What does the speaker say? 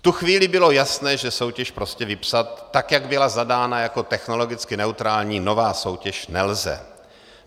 V tu chvíli bylo jasné, že soutěž prostě vypsat, tak jak byla zadána jako technologicky neutrální, nová soutěž, nelze.